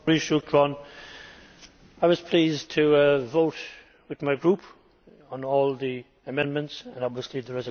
I was pleased to vote with my Group on all the amendments and, obviously, on the resolution here today.